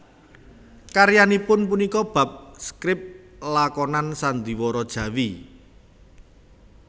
Karyanipun punika bab skrip lakonan sandhiwara Jawi